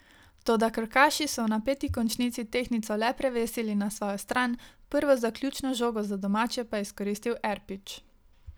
Toda krkaši so v napeti končnici tehtnico le prevesili na svojo stran, prvo zaključno žogo za domače pa je izkoristil Erpič.